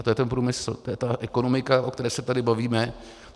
A to je ten průmysl, to je ta ekonomika, o které se tady bavíme.